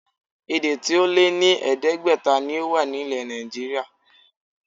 Èdè tí ó lé ní ẹ̀ẹ́dẹ́gbẹ̀ta ni ó wà ilẹ̀ Nàìjííríà